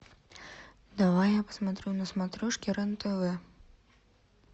давай я посмотрю на смотрешке рен тв